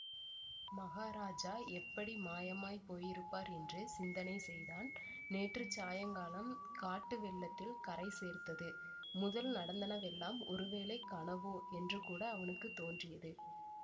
மகாராஜா எப்படி மாயமாய்ப் போயிருப்பார் என்று சிந்தனை செய்தான் நேற்றுச் சாயங்காலம் காட்டு வெள்ளத்தில் கரை சேர்த்தது முதல் நடந்தனவெல்லாம் ஒருவேளை கனவோ என்றுகூட அவனுக்கு தோன்றியது